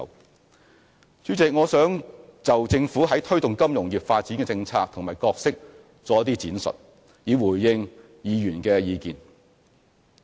代理主席，我想就政府推動金融業發展的政策及角色作一些闡述，以回應議員的意見。